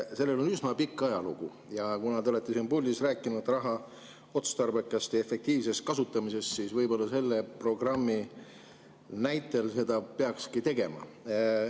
Sellel on üsna pikk ajalugu ja kuna te olete siin puldis rääkinud raha otstarbekast ja efektiivsest kasutamisest, siis võib-olla peakski selle programmi näitel seda tegema.